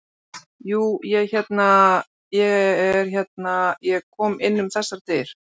Jú, ég hérna. ég er hérna. ég kom inn um þessar dyr.